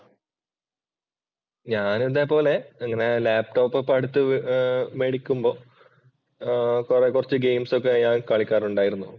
ഞാൻ അതേപോലെ അങ്ങനെ ലാപ് ടോപ്പ് ഇങ്ങനെ അടുത്ത് മേടിക്കുമ്പോ ആഹ് കൊറേ കൊറച്ച് ഒക്കെ ഞാൻ കളിക്കാറുണ്ടായിരുന്നു.